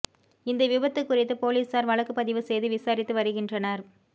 இந்த விபத்து குறித்து போலீசார வழக்குப் பதிவு செய்து விசாரித்து வருகின்றனர்